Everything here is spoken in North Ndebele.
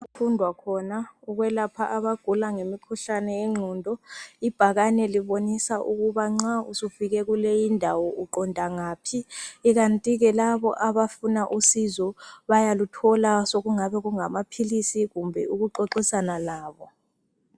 Okufundwa khona ukwelapha abagula ngemikhuhlane yengqondo, ibhakane libonisa ukuba nxa usufike kuleyindawo uqonda ngaphi ikanti ke laba abafuna usizo bayaluthola sokungaba ngamaphilisi kumbe ukuxoxisana labo.